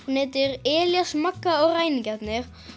hún heitir Elías Magga og ræningarnir